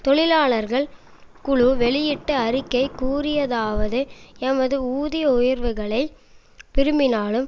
தொழிலாளர்கள் குழு வெளியிட்ட அறிக்கை கூறியதாவது எமது ஊதிய உயர்வுகளை விரும்பினாலும்